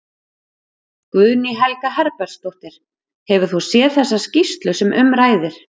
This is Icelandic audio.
Guðný Helga Herbertsdóttir: Hefur þú séð þessa skýrslu sem um ræðir?